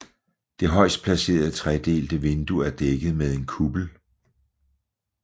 Det højest placerede tredelte vindue er dækket med en kuppel